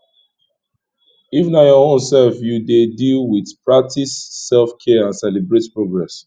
if na your own self you dey deal with practice selfcare and celebrate progress